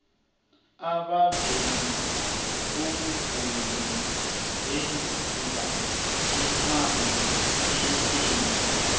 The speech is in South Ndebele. abavezi bomvumi benza imali enengi